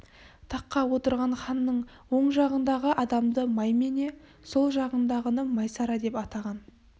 тақта отырған ханның оң жағындағы адамды маймене сол жағындағыны майсара деп атаған